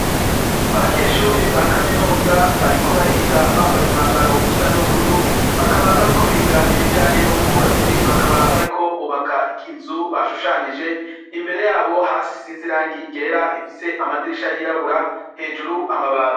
Abanyeshure ba Kaminuza bariko bariga bambaye umwambaro usa n'ubururu. Bakaba bariko biga ibijanye n'ubwubatsi. Bakaba bariko bubaka ikizu bashushanije imbere yabo hasi isinze irangi ryera, ifise amadirisha, yirabura hejuru amabati.